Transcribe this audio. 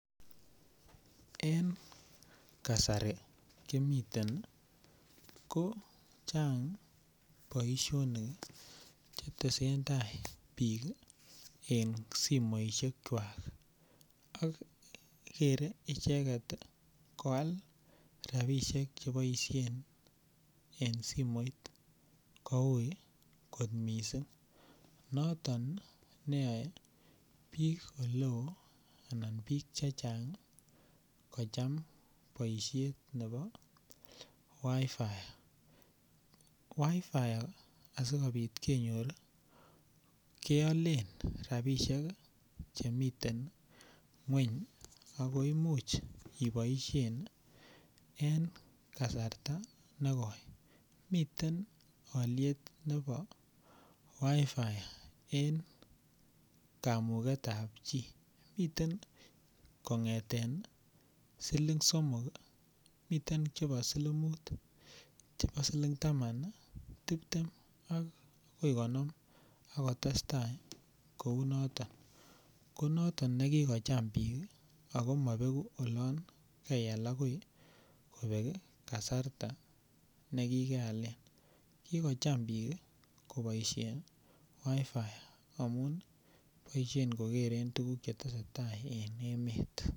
En kasari kimiten ko chang' boishonik chetesen tai biik en simoishekwak ak kerei icheget koalchini rapishek cheiboishen en simoit koui kot mising' noton neyoei biik chechang' kocham boishet nebo WiFi, WiFi asikobit kenyor keolen rapishek chemiten ng'weny ako imuchei iboishen en kasarta nekoi miten oliet nebo WiFi en kamuketab chin miten kong'ete siling' somok miten chebo siling' muut miten chebo siling' taman tiptem akoi konom akotestai kou noto ko noton nikikocham biik ako mabeku olon kaiyal akoi kobel kasarta nekikeale kicham biik koboishen WiFi amun boishen kokeren tukuk chetese tai en emet